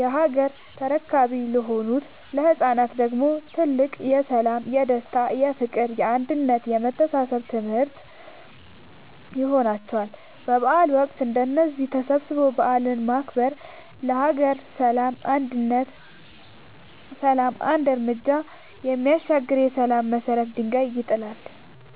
የሀገር ተረካቢ ለሆኑት ለህፃናት ደግሞ ትልቅ የሠላም፣ የደስታ፣ የፍቅር፣ የአንድነት የመተሳሰብ ትምህርት ይሆንላቸዋል። በበዓል ወቅት እንደዚህ ተሰባስቦ በዓልን ማክበር ለሀገር ሰላም አንድ ርምጃ የሚያሻግር የሠላም የመሰረት ድንጋይ ይጥላል።